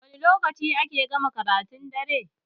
Wani lokaci ake gama karatun dare?